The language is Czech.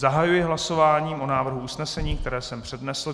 Zahajuji hlasování o návrhu usnesení, které jsem přednesl.